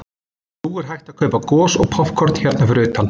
Nú er hægt að kaupa gos og poppkorn hérna fyrir utan.